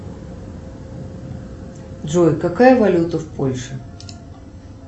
джой какая валюта в польше